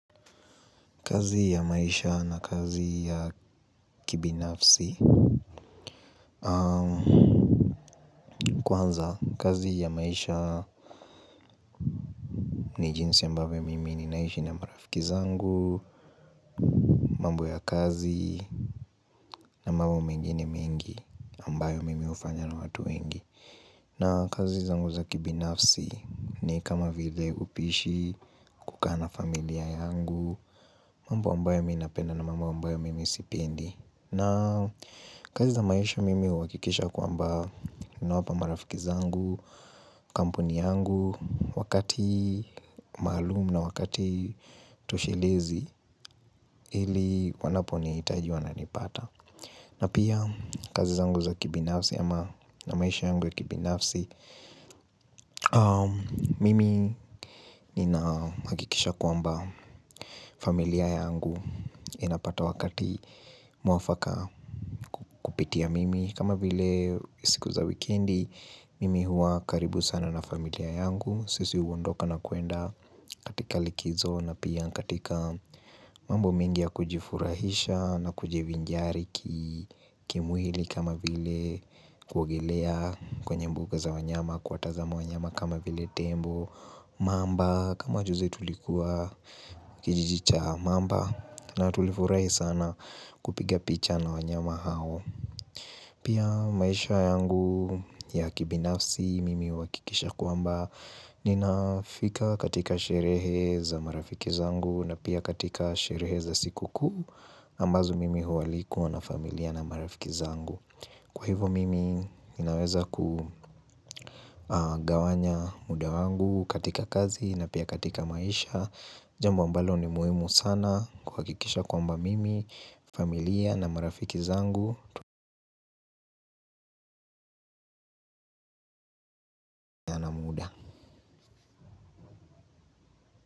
Kazi ya maisha na kazi ya kibinafsi Kwanza kazi ya maisha ni jinsi ambavyo mimi ninaishi na marafiki zangu mambo ya kazi na mambo mengine mengi ambayo mimi hufanya na watu wengi na kazi zangu za kibinafsi ni kama vile upishi kukaa na familia yangu mambo ambayo mimi napenda na mambo ambayo mimi sipendi na kazi za maisha mimi huhakikisha ya kwamba ninawapa marafiki zangu, kampuni yangu, wakati maalum na wakati toshelezi ili wanaponihitaji wananipata. Na pia kazi zangu za kibinafsi ama na maisha yangu ya kibinafsi, mimi ninahakikisha kwamba familia yangu inapata wakati mwafaka kupitia mimi. Kama vile siku za wikendi mimi huwa karibu sana na familia yangu Sisi huondoka na kwenda katika likizo na pia katika mambo mengi ya kujifurahisha na kujivinjari kimwili kama vile kuogelea kwenye mbuga za wanyama kuwatazama wanyama kama vile tembo mamba kama juzi tulikuwa kijiji cha mamba na tulifurahi sana kupiga picha na wanyama hao Pia maisha yangu ya kibinafsi mimi huhakikisha kwamba ninafika katika sherehe za marafiki zangu na pia katika sherehe za sikukuu ambazo mimi hualikwa na familia na marafiki zangu Kwa hivo mimi ninaweza kugawanya muda wangu katika kazi na pia katika maisha jambo ambalo ni muhimu sana kuhakikisha kwamba mimi familia na marafiki zangu.